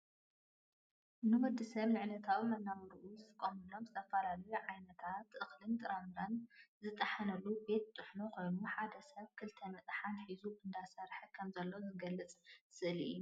ንወድሰብ ንዕለታዊ መነባብርኡ ዝጥቀመሎም ዝተፈላለዩ ዓይነት እኽልታትን ጥረምረን ዝጠሓነሉ ቤት ጥሕኖ ኮይኑ ሓደ ሰብ ክልተ መጥሓን ሒዙ እንዳሰርሐ ከም ዘሎ ዝገልፅ ስእሊ እዩ።